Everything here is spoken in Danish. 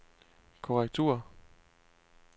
korrektur